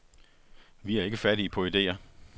Vi er ikke fattige på idéer.